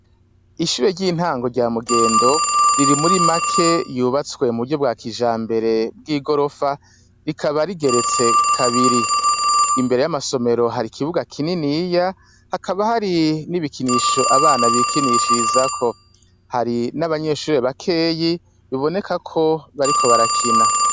ishure ry'intango rya mugendo riri muri make yubatswe mu buryo bwa kijambere bw'igorofa rikaba rigeretse kabiri, imbere y'amasomero hari kibuga kininiya hakaba hari n'ibikinisho abana bikinishirizako, hari n'abanyeshuri bakeyi bibonekako bariko barakina.